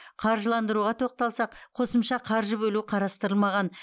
қаржыландыруға тоқталсақ қосымша қаржы бөлу қарастырылмаған